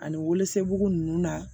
Ani wolonugu ninnu na